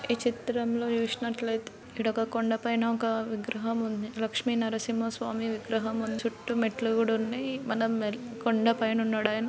ఈ చిత్రంలో చూసినట్లయితే ఇక్కడ ఒక కొండా పైన ఒక విగ్రహం ఉంది. లక్ష్మి నరసింహ స్వామి విగ్రహం చుట్టూ మెట్లు కూడా ఉన్నాయ్. మనం మెర్ కొండా పైన ఉన్నాడాయన.